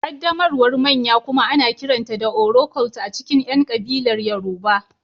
Ƙaddamarwar manya kuma ana kiranta da Oro-cult a cikin ƴan kabilar Yoruba